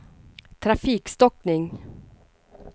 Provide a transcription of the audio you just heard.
trafikstockning